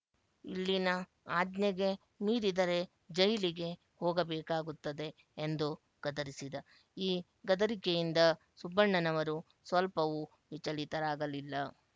ಇಲ್ಲಿನ ಆಜ್ಞೆಗೆ ಮೀರಿದರೆ ಜೈಲಿಗೆ ಹೋಗಬೇಕಾಗುತ್ತದೆ ಎಂದು ಗದರಿಸಿದ ಈ ಗದರಿಕೆಯಿಂದ ಸುಬ್ಬಣ್ಣನವರು ಸ್ವಲ್ಪವೂ ವಿಚಲಿತರಾಗಲಿಲ್ಲ